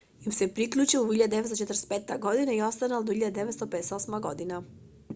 им се приклучил во 1945 година и останал до 1958 година